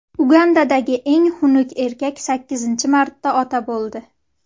Ugandadagi eng xunuk erkak sakkizinchi marta ota bo‘ldi.